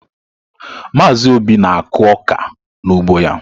Mazị Obi na-akụ ọka n’ugbo ya.